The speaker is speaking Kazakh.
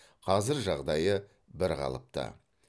қазір жағдайы бірқалыпты